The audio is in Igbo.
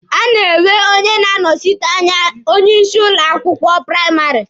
A na-enwe onye na-anọsite anya onye isi ụlọ akwụkwọ praịmarị.